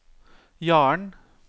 Jaren